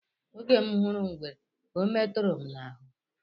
Oge m hụrụ ngwere ọ meturu m n'ahụ.